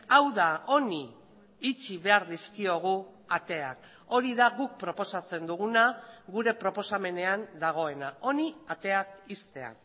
hau da honi itxi behar dizkiogu ateak hori da guk proposatzen duguna gure proposamenean dagoena honi ateak ixtea